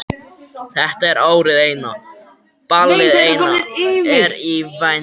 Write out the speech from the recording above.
Þetta er árið eina, ballið eina er í vændum.